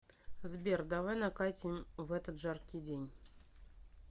сбер давай накатим в этот жаркий день